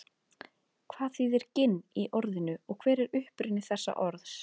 hvað þýðir ginn í orðinu og hver er uppruni þessa orðs